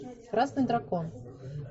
красный дракон